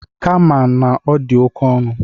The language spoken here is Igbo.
Kama na ọ dị oke ọnụ.